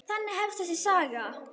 Þannig hefst þessi saga.